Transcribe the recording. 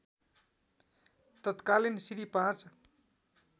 तत्कालीन श्री ५